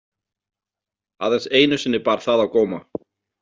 Aðeins einu sinni bar það á góma.